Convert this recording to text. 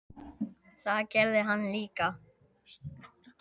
Það gerði hann líka.